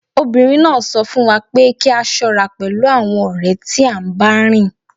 Obìnrin náà sọ fún wa pé kí a ṣọ́ra pẹ̀lú àwọn ọ̀rẹ́ tí à ń bá rìn